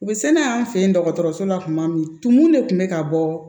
U bɛ se n'a ye an fɛ yen dɔgɔtɔrɔso la tuma min tumun de kun bɛ ka bɔ